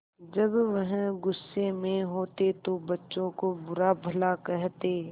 जब वह गुस्से में होते तो बच्चों को बुरा भला कहते